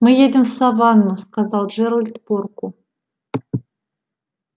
мы едем в саванну сказал джералд порку